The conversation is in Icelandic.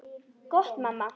Gott mamma.